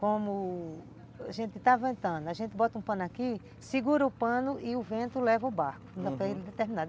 Como a gente, a gente bota um pano aqui, segura o pano e o vento leva o barco, uhum,